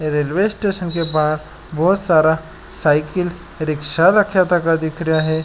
Railway station के बाहर बोहोत सारा साइकिल रिक्षा रखा तका दिख रिया है।